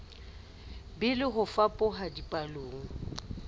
be le ho fapoha dipallong